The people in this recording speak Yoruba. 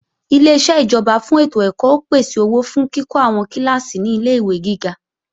Ileṣẹ́ ìjọba fún ètò ẹ̀kọ́ ó pèsè owó fún kíkọ́ àwọn kíláàsì ní ilé-ìwé gíga